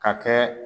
Ka kɛ